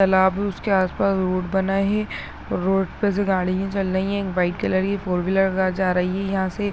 --तालाब है उसके आस पास रोड़ बनाए है और रोड़ पर से गड़िया चल रही है एक व्हाइट कलर की फॉर व्हीलर जा रही है यहाँ से--